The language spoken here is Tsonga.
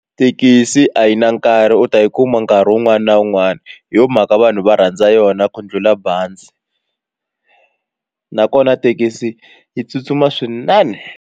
Thekisi a yi na nkarhi u ta yi kuma nkarhi wun'wani na wun'wani hi yo mhaka vanhu va rhandza yona ku ndlhula bazi nakona thekisi yi tsutsuma swinene.